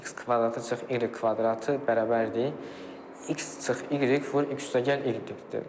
X kvadratı - y kvadratı = x - y vur x + y-dir.